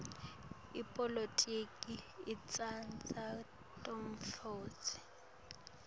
ipolitiki itsindza temnotfo